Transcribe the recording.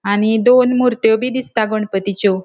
आणि दोन मुर्त्यो बी दिसता गणपतीच्यो.